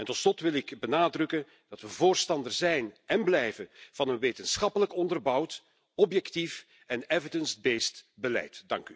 Tot slot wil ik benadrukken dat we voorstander zijn en blijven van een wetenschappelijk onderbouwd objectief en evidence based beleid.